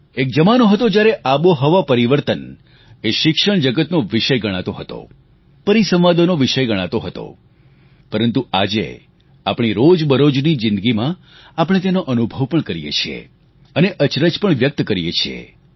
એક જમાનો હતો જ્યારે આબોહવા પરિવર્તન એ શિક્ષણજગતનો વિષય ગણાતો હતો પરિસંવાદોનો વિષય ગણાતો હતો પરંતુ આજે આપણી રોજબરોજની જીંદગીમાં આપણે તેનો અનુભવ પણ કરીએ છીએ અને અચરજ પણ વ્યક્ત કરીએ છીએ